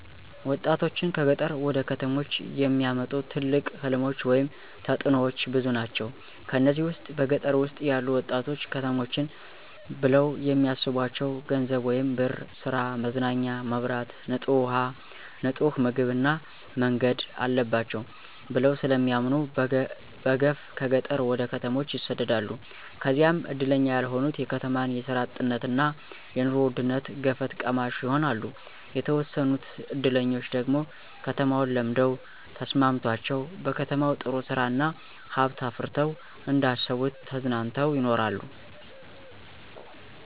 ወጣቶችን ከገጠር ወደ ከተሞች የሚያመጡ ትልቅ ሕልሞች ወይም ተጥኖዎች ብዙ ናቸው። ከነዚህም ውስጥ በገጠር ውስጥ ያሉ ወጣቶች ከተሞችን ብለው የሚስቧቸው ገንዘብ ወይም ብር፣ ሥራ፣ መዝናኛ፣ መብራት፣ ንጡህ ውሃ፣ ንጡህ ምግብ እና መንገድ አለባቸው ብለው ስለሚያምኑ በገፍ ከገጠር ወደ ከተሞች ይሰደዳሉ። ከዚያም እድለኛ ያልሆኑት የከተማን የስራ አጥነትና የኑሮ ውድነት ገፈት ቀማሽ ይሆናሉ። የተወሰኑት እድለኞች ደግሞ ከተማውን ለምደው ተስማምቶቸው በከተማው ጥሩ ስራ እና ሀብት አፍረተው እንደ አሰቡት ተዝናንተው ይኖራሉ።